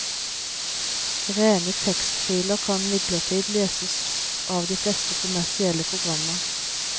Rene tekstfiler kan imidlertid leses av de fleste kommersielle programmer.